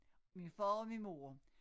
Min far og min mor